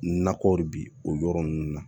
Nakɔ de bi o yɔrɔ ninnu na